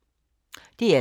DR2